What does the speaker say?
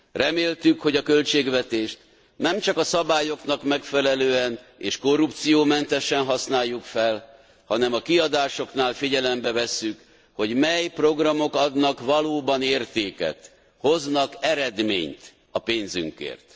Reméltük, hogy a költségvetést nem csak a szabályoknak megfelelően, és korrupciómentesen használjuk fel, hanem a kiadásoknál figyelembe vesszük, hogy mely programok adnak valóban értéket, hoznak eredményt a pénzünkért.